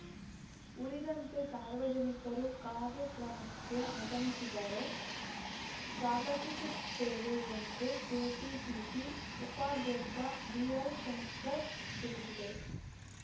ಉಳಿದಂತೆ ಸಾರ್ವಜನಿಕರು ಕಾರ್ಯಕ್ರಮಕ್ಕೆ ಆಗಮಿಸಿದರೆ ಸ್ವಾಗತಿಸುತ್ತೇವೆ ಎಂದು ಕೆಪಿಸಿಸಿ ಉಪಾಧ್ಯಕ್ಷ ಬಿಎಲ್‌ ಶಂಕರ್‌ ತಿಳಿಸಿದರು